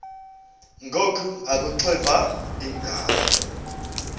ngoku akuxiva iingalo